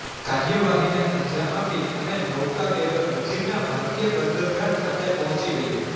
કાર્યવાહીને અંજામ આપી અને નૌકાબેડો નજીકના ભારતીય બંદરગાહ ખાતે પહોંચી ગયો